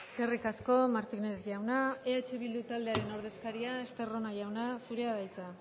eskerrik asko martínez jauna eh bildu taldearen ordezkaria estarrona jauna zurea da hitza